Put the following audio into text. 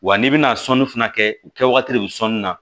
Wa n'i bɛna sɔnni fana kɛ u kɛwagati de bɛ sɔnni na